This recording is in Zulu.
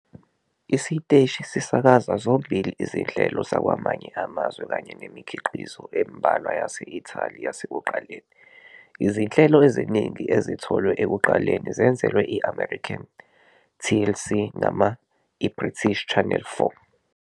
Isiteshi sisakaza zombili izinhlelo zakwamanye amazwe kanye nemikhiqizo embalwa yase-Italy yasekuqaleni. Izinhlelo eziningi ezitholwe ekuqaleni zenzelwe i-American TLC noma iBritish Channel 4.